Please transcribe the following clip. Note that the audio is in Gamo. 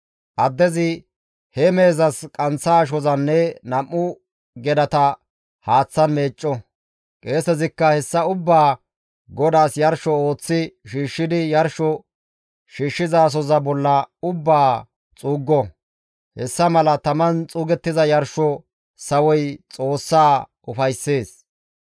Addezi he mehezas qanththa ashozanne nam7u gedata haaththan meecco; qeesezikka hessa ubbaa GODAAS yarsho ooththi shiishshidi yarsho shiishshizasoza bolla ubbaa xuuggo; hessa mala taman xuugettiza yarsho sawoy Xoossaa ufayssees.